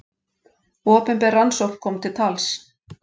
Opinber rannsókn kom til tals.